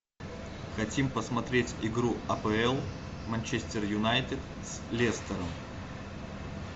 хотим посмотреть игру апл манчестер юнайтед с лестером